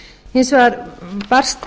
hins vegar barst